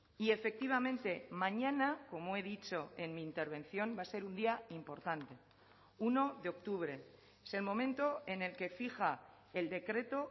y efectivamente mañana como he dicho en mi intervención va a ser un día importante uno de octubre es el momento en el que fija el decreto